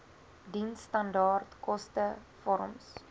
diensstandaard koste vorms